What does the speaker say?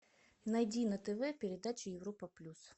найди на тв передачу европа плюс